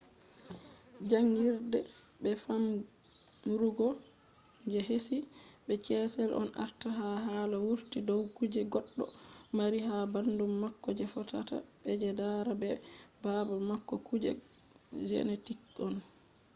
jangirde be famrugo je heshi be ches on ardata ha hala wurti dow kuje goɗɗo mari ha ɓandu mako je fotata be je dada be baba mako kuje genetics on